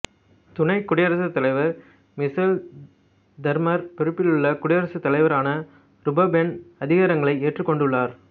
துணைக் குடியரசுத் தலைவர் மிசெல் தெமர் பொறுப்பிலுள்ள குடியரசுத் தலைவராக ரூபெஃபென் அதிகாரங்களை ஏற்றுக்கொண்டுள்ளார்